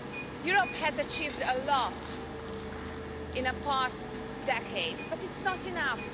Europe has achieved a lot in the past decades, but it's not enough.